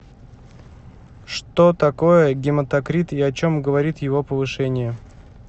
что такое гематокрит и о чем говорит его повышение